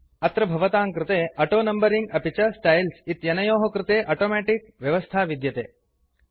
अत्र भवतां कृते ऑटोनम्बरिंग अपि च स्टाइल्स् इत्यनयोः कृते अटोमेटिक् व्यवस्था विद्यते